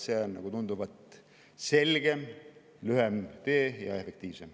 See on tunduvalt selgem ja lühem tee ning ka efektiivsem.